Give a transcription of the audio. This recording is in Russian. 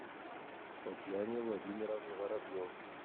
татьяне владимировне воробьевой